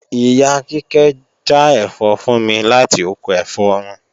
Ìyá Kíkẹ́ já ẹ̀fọ́ fún mi láti oko ẹ̀fọ́ wọn